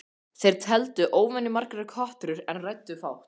Þeir tefldu óvenjumargar kotrur en ræddu fátt.